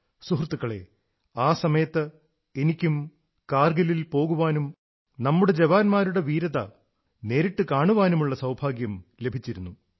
സുഹൃത്തുക്കളേ ആ സമയത്ത് എനിക്കും കാർഗിലിൽ പോകാനും നമ്മുടെ ജവാന്മാരുടെ ധീരത നേരിട്ടു കാണാനുമുള്ള സൌഭാഗ്യം ലഭിച്ചിരുന്നു